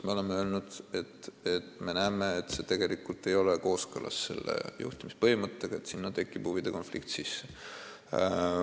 Me oleme öelnud, et see ei ole kooskõlas selle juhtimispõhimõttega, tekib huvide konflikt.